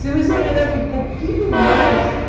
Se tivesse esperado um pouquinho mais.